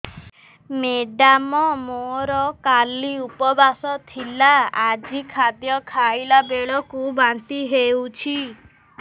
madam ମୋର କାଲି ଉପବାସ ଥିଲା ଆଜି ଖାଦ୍ୟ ଖାଇଲା ବେଳକୁ ବାନ୍ତି ହେଊଛି